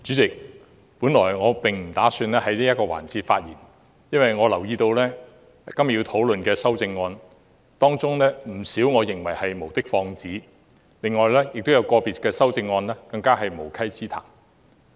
主席，本來我並不打算在這個環節發言，但我留意到今天要討論的修正案中，有不少是無的放矢，亦有個別修正案更是無稽之談。